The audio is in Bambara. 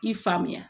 I faamuya